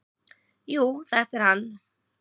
"""Jú, þetta er hann."""